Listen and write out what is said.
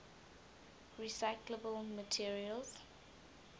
recyclable materials